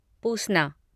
पूसना